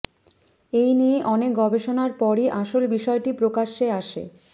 এই নিয়ে অনেক গবেষণার পরই আসল বিষয়টি প্রকাশ্যে আসে